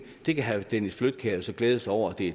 det kan herre dennis flydtkjær så glæde sig over at det